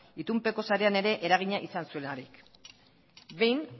itunpeko sarean ere eragina izan zuelarik behin